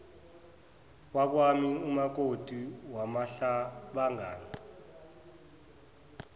wakwami umakoti wamahlabangani